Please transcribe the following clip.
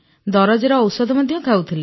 ଦରଜର ଔଷଧ ଖାଉଥିଲି